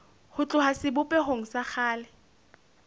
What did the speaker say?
ho tloha sebopehong sa kgale